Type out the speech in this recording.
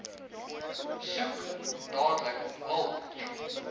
soek dadelik hulp